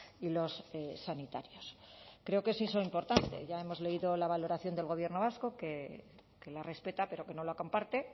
y los sanitarios creo que sí es importante ya hemos leído la valoración del gobierno vasco que la respeta pero que no la comparte